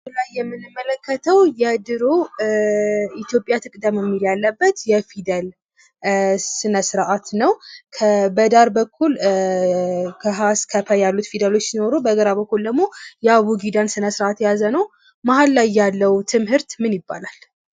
ከላይ የምንመለከተው የድሮ ኢትዮጵ ትቅደም የሚል ያለበት የፊደል ስነስርዓት ነው :: በዳር በኩል ከ ሀ እስክ ፕ ያሉት ፊደሎች ሲኖሩ በግራ በኩል ድግሞ የአቦጊዳ ስንሥርዓት የያዘ ነው :: መሃል ላይ ያለው ትምህርት ምን ይባላል?